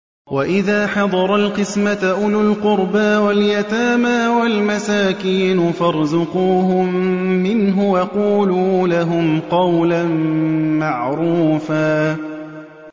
وَإِذَا حَضَرَ الْقِسْمَةَ أُولُو الْقُرْبَىٰ وَالْيَتَامَىٰ وَالْمَسَاكِينُ فَارْزُقُوهُم مِّنْهُ وَقُولُوا لَهُمْ قَوْلًا مَّعْرُوفًا